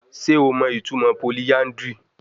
Ṣe o mọ itumọ polyandry?